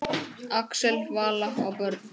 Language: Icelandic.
Axel, Vala og börn.